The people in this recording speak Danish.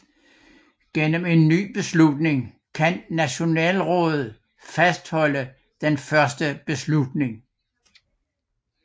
Gennem en ny beslutning kan Nationalrådet fastholde den første beslutning